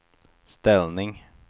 ställning